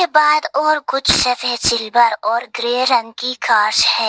बाद और कुछ सफेद सिल्वर और ग्रे रंग की कारस है।